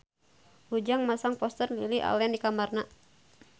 Ujang masang poster Lily Allen di kamarna